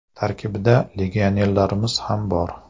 Tarkibda legionerlarimiz ham bor.